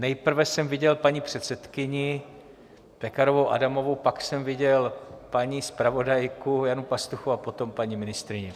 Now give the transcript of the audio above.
Nejprve jsem viděl paní předsedkyni Pekarovou Adamovou, pak jsem viděl paní zpravodajku Janu Pastuchovou a potom paní ministryni.